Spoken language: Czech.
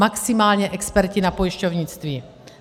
Maximálně experti na pojišťovnictví.